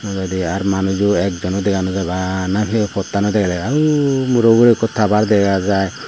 nojodear manujo ekjono dega nojai bana hiloyot pottan degede uh murono ugurey ikko tower daga jai.